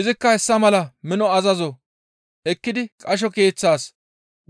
Izikka hessa mala mino azazo ekkidi qasho keeththaas